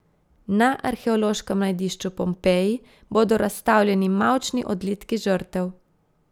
Na arheološkem najdišču Pompeji bodo razstavljeni mavčni odlitki žrtev.